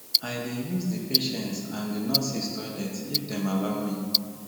i dey use di patients or di nurses toilets if dem allow me